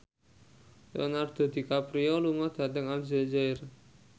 Leonardo DiCaprio lunga dhateng Aljazair